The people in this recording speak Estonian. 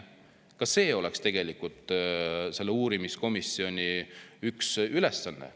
Ka see oleks tegelikult selle uurimiskomisjoni üks ülesanne.